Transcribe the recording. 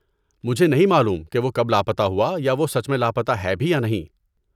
مجھے نہیں معلوم کہ وہ کب لاپتہ ہوا یا وہ سچ میں لاپتہ ہے بھی یا نہیں۔